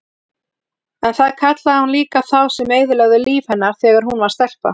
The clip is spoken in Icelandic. En það kallaði hún líka þá sem eyðilögðu líf hennar þegar hún var stelpa.